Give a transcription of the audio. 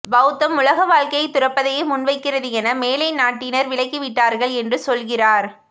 பௌத்தம் உலகவாழ்க்கையை துறப்பதையே முன்வைக்கிறது என மேலைநாட்டினர் விளக்கிவிட்டார்கள் என்று சொல்கிறார்